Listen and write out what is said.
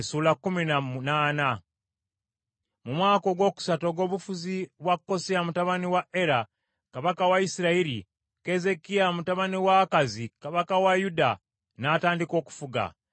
Mu mwaka ogwokusatu ogw’obufuzi bwa Koseya mutabani wa Era kabaka wa Isirayiri, Keezeekiya mutabani wa Akazi kabaka wa Yuda, n’atandika okufuga.